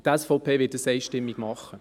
Die SVP wird dies einstimmig tun.